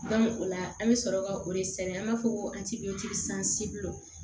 o la an bɛ sɔrɔ ka o de sɛbɛn an b'a fɔ ko